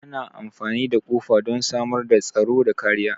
Ana amfani da kofa don samar da tsaro da kariya.